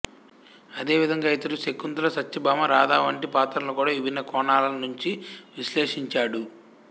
అదే విధంగా ఇతడు శకుంతల సత్యభామ రాధ వంటి పాత్రలను కూడా విభిన్న కోణాల నుంచి విశ్లేషించాడు